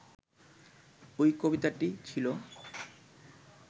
ওই কবিতাটি ছিল